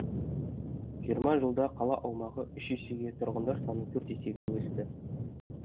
жиырма жылда қала аумағы үш есеге тұрғындар саны төрт есеге өсті